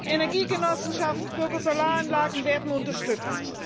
Energiegenossenschaften und Bürger Solaranlagen werden unterstützt.